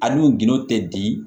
A n'u gindo tɛ di